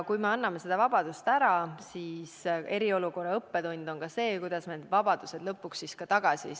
Kui anname osa vabadusi ära, siis – seegi on üks eriolukorra õppetunde – kuidas need vabadused lõpuks tagasi saada?